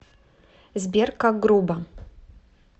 сбер как грубо